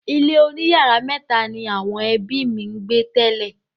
Ilé oníyàrá mẹ́tà ni àwọn ẹbí mi gbé tẹ́lẹ̀.